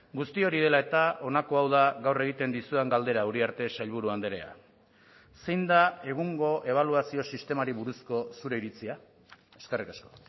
guzti hori dela eta honako hau da gaur egiten dizudan galdera uriarte sailburu andrea zein da egungo ebaluazio sistemari buruzko zure iritzia eskerrik asko